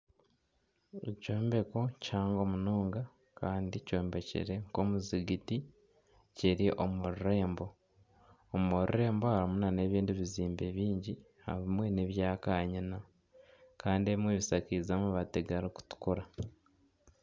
Ekyombeko kihango munonga kandi kyombekire nka omuzigiti kiri omu rurembo. Omu rurembo harimu nana ebindi bizimbe biingi. Ebimwe nebya kanyina Kandi ebimwe bishakiize amabaati gari kutukura.